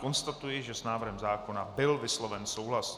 Konstatuji, že s návrhem zákona byl vysloven souhlas.